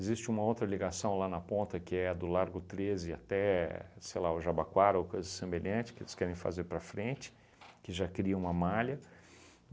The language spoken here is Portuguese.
Existe uma outra ligação lá na ponta que é do Largo treze até, sei lá, o Jabaquara ou coisa semelhante, que eles querem fazer para frente, que já cria uma malha.